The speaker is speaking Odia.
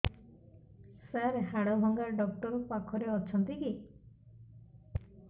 ସାର ହାଡଭଙ୍ଗା ଡକ୍ଟର ପାଖରେ ଅଛନ୍ତି କି